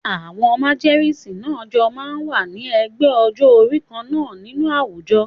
Àwọn màgẹ̀sín náà jọ máa ń wà ní ẹgbẹ́ ọjọ́-orí kan náà nínú àwùjọ.